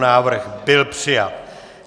Návrh byl přijat.